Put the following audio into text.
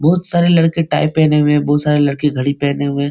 बहुत सारे लड़के टाई पहने हुए बहुत सारे लड़के घड़ी पहने हुए --